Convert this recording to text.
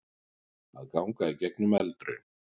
Að ganga í gegnum eldraun